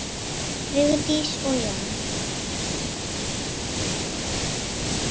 Vigdís og Jón.